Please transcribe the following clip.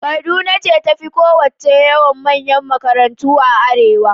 Kaduna ce ta fi kowacce yawan manyan makarantu a arewa.